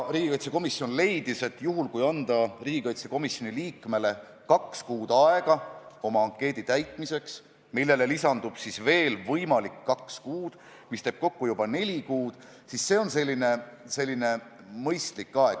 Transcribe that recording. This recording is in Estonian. Riigikaitsekomisjon leidis, et juhul, kui anda riigikaitsekomisjoni liikmele kaks kuud aega oma ankeedi täitmiseks, millele lisandub siis veel võimalik kaks kuud – see teeb kokku juba neli kuud –, siis see on selline mõistlik aeg.